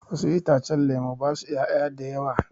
Wasu itacen lemu basu 'ya'ya a da yawa.